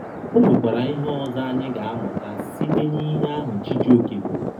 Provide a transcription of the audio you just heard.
O nwekwara ihe ọzọ anyị ga - amụta site n’ihe ahụ Chijioke kwuru.